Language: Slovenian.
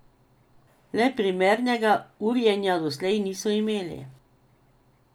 Le primernega urjenja doslej niso imeli.